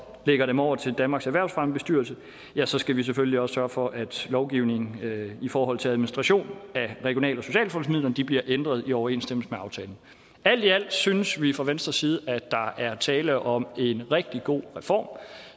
lægger dem over til danmarks erhvervsfremmebestyrelse ja så skal vi selvfølgelig også sørge for at lovgivningen i forhold til administration af regional og socialfondsmidlerne bliver ændret i overensstemmelse med aftalen alt i alt synes vi fra venstres side at der er tale om en rigtig god reform